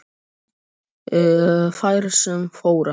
Þær sem þora